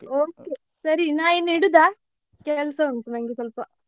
Okay ಸರಿ ನಾನ್ ಇನ್ನೂ ಇಡುದ? ಕೆಲ್ಸ ಉಂಟು ನಂಗೆ ಸ್ವಲ್ಪ.